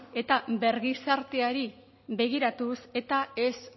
eta gizarteari begiratuz eta ez